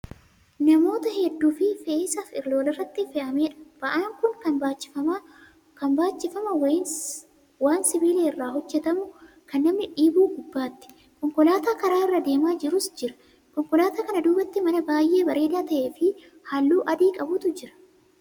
Namoota hedduufi fe'iisa walirratti fe'ameedha. ba'aan Kuni Kan baachifama waan sibiila irraa hojjatamu Kan namni dhiibu gubbaatti. konkolaataan karaa irra deemaa jirus Jira. konkolaataa kana duubaatti mana baay'ee bareedaa ta'eefi halluu adii qabutu Jira.